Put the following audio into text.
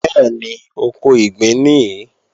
Bẹ́ẹ̀ni, oko ìgbín nìí